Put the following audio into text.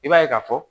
I b'a ye ka fɔ